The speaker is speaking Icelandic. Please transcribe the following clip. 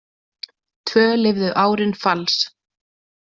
Tvö liðu árin falls.